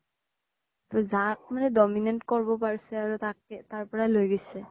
যাক মানে dominant কৰিব পৰিছে আৰু তাকে তাৰ পৰা লৈ গৈছে